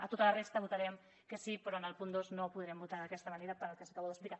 a tota la resta votarem que sí però en el punt dos no podrem votar d’aquesta manera pel que els acabo d’explicar